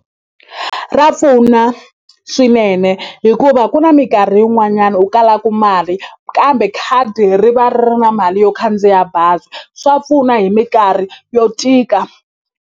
Ra pfuna swinene hikuva ku na minkarhi yin'wanyani u kalaku mali kambe khadi ri va ri ri na mali yo khandziya bazi swa pfuna hi minkarhi yo tika.